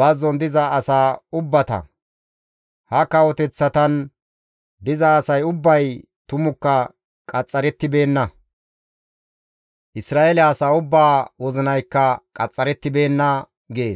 bazzon diza asaa ubbata. Ha kawoteththatan diza asay ubbay tumukka qaxxarettibeenna; Isra7eele asaa ubbaa wozinaykka qaxxarettibeenna» gees.